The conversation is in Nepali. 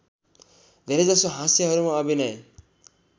धेरैजसो हास्यहरूमा अभिनय